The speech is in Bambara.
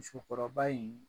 Musokɔrɔba in